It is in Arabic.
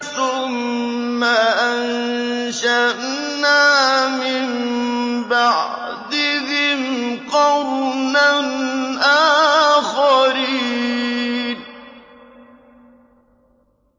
ثُمَّ أَنشَأْنَا مِن بَعْدِهِمْ قَرْنًا آخَرِينَ